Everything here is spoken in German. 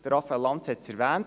Raphael Lanz hat es erwähnt: